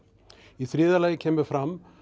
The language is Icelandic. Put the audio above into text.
í þriðja lagi kemur fram